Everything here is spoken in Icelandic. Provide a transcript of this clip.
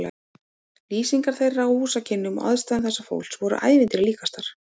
Lýsingar þeirra á húsakynnum og aðstæðum þessa fólks voru ævintýri líkastar.